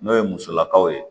N'o ye musolakaw ye